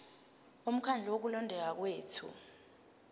bomkhandlu wokulondeka kwethu